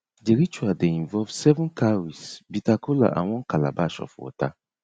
di ritual dey involve seven cowries bitter kola and one calabash of water